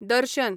दर्शन